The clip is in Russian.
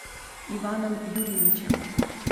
иваном юрьевичем